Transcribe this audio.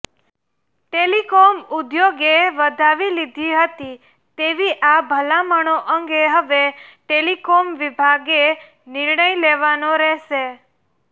telecom ઉદ્યોગે વધાવી લીધી હતી તેવી આ ભલામણો અંગે હવે ટેલિકોમ વિભાગે નિર્ણય લેવાનો રહેશે